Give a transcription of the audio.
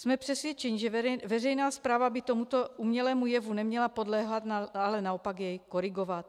Jsme přesvědčeni, že veřejná správa by tomuto umělému jevu neměla podléhat, ale naopak jej korigovat.